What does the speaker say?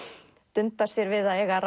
dundar sér við að eiga